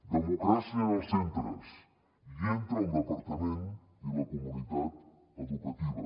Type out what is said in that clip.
democràcia en els centres i entre el departament i la comunitat educativa